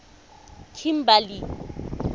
kimberley